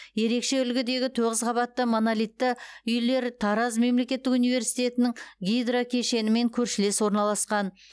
ерекше үлгідегі тоғыз қабатты монолитті үйлер тараз мемлекеттік университетінің гидро кешенімен көршілес орналасқан